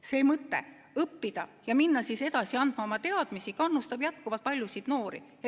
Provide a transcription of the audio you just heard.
See mõte, et õppida ja minna edasi andma oma teadmisi, kannustab jätkuvalt paljusid noori.